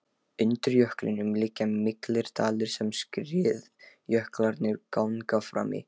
Undir jöklinum liggja miklir dalir sem skriðjöklarnir ganga fram í.